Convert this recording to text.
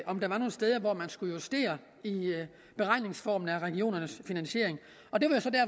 om der var nogle steder hvor man skulle justere i beregningsformen af regionernes finansiering og det